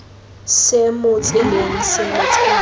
se mo tseleng se letshwao